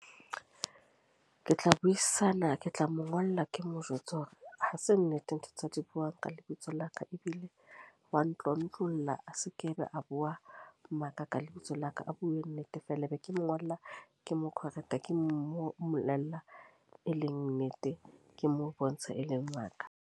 Ke tla buisana, ke tla mo ngolla. Ke mo jwetse hore ha se nnete ntho tsa di buang ka lebitso la ka. Ebile wa ntlontlolla, a se ka be a bua maka ka lebitso la ka. A bue nete fela. E be ke mo ngolla ke mo correct ke mo mollella, e leng nnete ke mo bontshe, e leng maka.